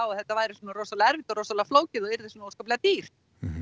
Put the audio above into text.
að þetta væri svona rosalega erfitt og rosalega flókið og yrði svona óskaplega dýrt